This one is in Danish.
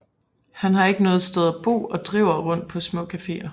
Han har ikke noget sted at bo og driver rundt på små cafeer